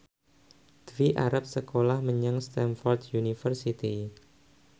Dwi arep sekolah menyang Stamford University